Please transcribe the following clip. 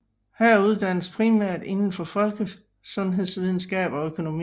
Her uddannes primært indenfor folkesundhedsvidenskab og økonomi